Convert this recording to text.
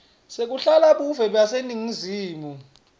sekulahla buve baseningizimu